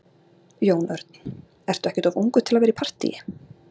Jón Örn: Ertu ekkert of ungur til að vera í partýi?